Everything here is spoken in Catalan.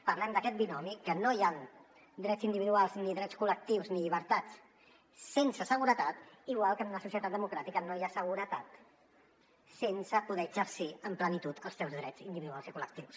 parlem d’aquest binomi que no hi han drets individuals ni drets col·lectius ni llibertats sense seguretat igual que en una societat democràtica no hi ha seguretat sense poder exercir amb plenitud els teus drets individuals i col·lectius